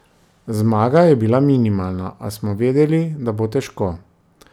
Zmaga je bila minimalna, a smo vedeli, da bo težko.